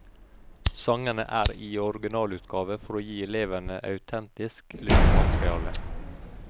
Sangene er i originalutgave for å gi elevene autentisk lyttemateriale.